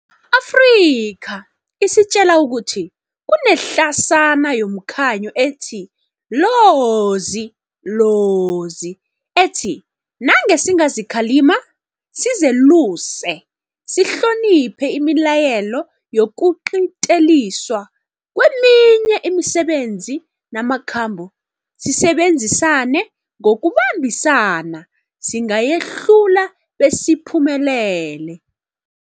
Afrika isitjela ukuthi kunehlasana yomkhanyo ethi lozi, lozi, ethi nange singazikhalima, sizeluse, sihloniphe imilayelo yokuqinteliswa kweminye imisebenzi namakhambo, sisebenzisane ngokubambisana, singayehlula besiphumelele.